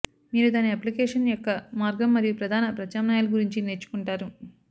మీరు దాని అప్లికేషన్ యొక్క మార్గం మరియు ప్రధాన ప్రత్యామ్నాయాలు గురించి నేర్చుకుంటారు